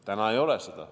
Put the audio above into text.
Täna ei ole seda.